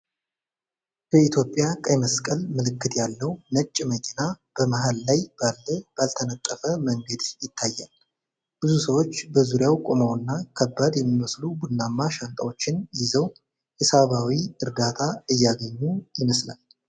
በኢትዮጵያ ቀይ መስቀል ምልክት ያለው ነጭ መኪና በመሃል ላይ ባለ ባልተነጠፈ መንገድ ይታያል። ብዙ ሰዎች በዙሪያው ቆመውና ከባድ የሚመስሉ ቡናማ ሻንጣዎችን ይዘው የሰብዓዊ እርዳታ እያገኙ ይመስላል።